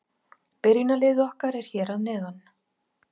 Byrjunarliðið okkar er hér að neðan.